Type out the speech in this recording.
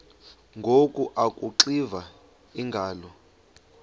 ngoku akuxiva iingalo